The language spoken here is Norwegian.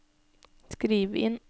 skriv inn